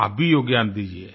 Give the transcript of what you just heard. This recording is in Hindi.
आप भी योगदान दीजिये